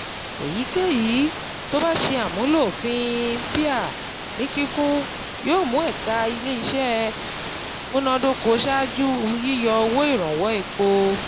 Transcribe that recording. Èyíkéyìí tó bá ṣe àmúlò òfin PIA ní kíkún yóò mú ẹ̀ka ilé-iṣẹ́ múnádóko ṣaájú yíyọ owó ìrànwọ́ epo.